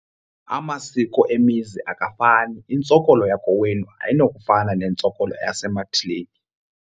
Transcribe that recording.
Amasiko emizini akafani. Intsokolo yakowenu ayinokufana nentsokolo yasemathileni.